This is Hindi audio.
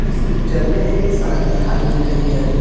इस पिक्चर में एक सड़क दिखाई दे रही है।